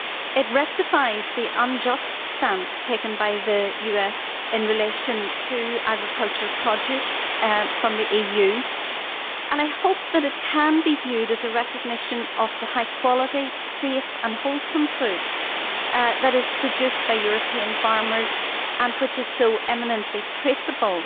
It rectifies the unjust stance taken by the US in relation to agricultural produce from the EU, and I hope that it can be viewed as recognition of the high quality, safe and wholesome food that is produced by European farmers and which is so eminently traceable.